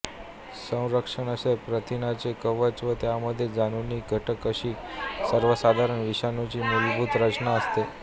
संरक्षक असे प्रथिनांचे कवच व त्यामध्ये जनुकीय घटक अशी सर्वसाधारण विषाणूची मूलभूत रचना असते